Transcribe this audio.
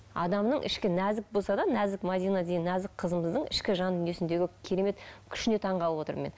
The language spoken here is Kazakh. адамның ішкі нәзік болса да нәзік мәдина деген нәзік қызымыздың ішкі жан дүниесіндегі керемет күшіне таңғалып отырмын мен